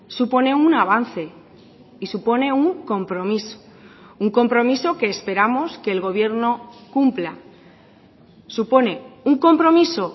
supone un avance y supone un compromiso un compromiso que esperamos que el gobierno cumpla supone un compromiso